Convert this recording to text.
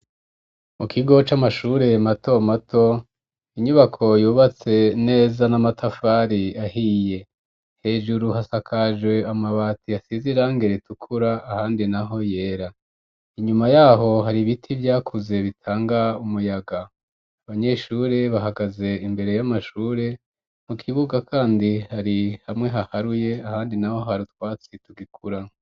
Mu kigo, c'amashure mato mato, inyubako, yubatse neza, n'amatafari ahiye; hejuru, hasakaje amabati, asize irangi ritukura, ahandi naho yera; inyuma y'aho, hari ibiti vyakuze, bitanga umuyaga; abanyeshure, bahagaze imbere, y'amashure; mu kibuga kandi, hari hamwe haharuye, ahandi naho, hari utwatsi, tugikura.